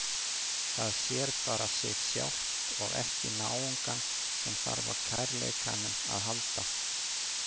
Það sér bara sig sjálft og ekki náungann sem þarf á kærleikanum að halda.